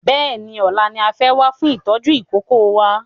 Bẹ́ẹ̀ni ọ̀la ni a fẹ́ wá fún ìtọ́jú ìkókó wa